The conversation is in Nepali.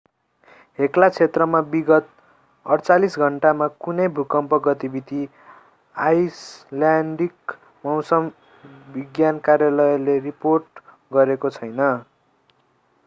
हेक्ला क्षेत्रमा विगत 48 घण्टामा कुनै भूकम्प गतिविधि आईसल्यान्डिक मौसम विज्ञान कार्यालयले रिपोर्ट गरेको छैन